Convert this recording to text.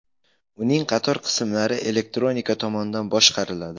Uning qator qismlari elektronika tomonidan boshqariladi.